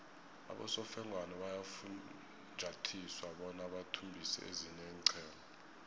abosofengwana bayafunjathiswa bona bathumbise ezinye iinqhema